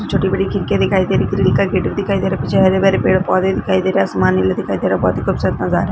छोटी-बड़ी खिड़की दिखाई दे रहा हैं ग्रील का गेट दिखाई दे रही है पीछे हरे भरे पेड़ पौधे दिखाई दे रहे हैं आसमान नीला दिखाई बहुत ही खुबसूरत नजारा है।